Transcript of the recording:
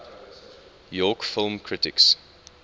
york film critics